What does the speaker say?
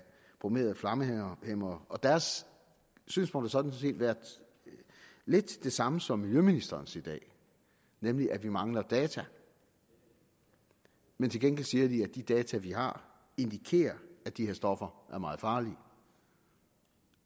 bromerede flammehæmmere deres synspunkt har sådan set været lidt det samme som miljøministerens i dag nemlig at vi mangler data men til gengæld siger de at de data vi har indikerer at de her stoffer er meget farlige